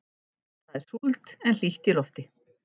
Það er súld en hlýtt í lofti.